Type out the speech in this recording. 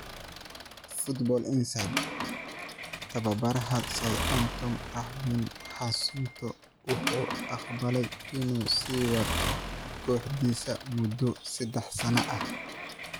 (Football Insider) Tababaraha Southampton Ralph Hasenhuttl wuxuu aqbalay inuu sii wato kooxdiisa muddo saddex sano ah.